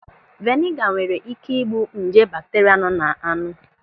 Veniga nwere ị́ké ị́gbù nje bakteria nọ n'anụ.